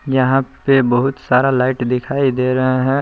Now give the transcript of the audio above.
यहां पे बहुत सारा लाइट दिखाई दे रहा है।